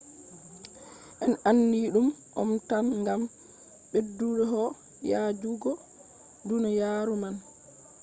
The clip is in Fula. en andi ɗum om tam gam ɓedduho yaajugo duniyaaru man